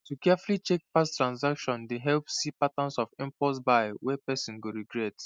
to carefully check past transactions dey help see patterns of impulse buys wey person go regret